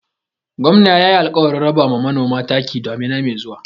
Gwamna yayi alƙawarin raba ma manoma taki damina mai zuwa.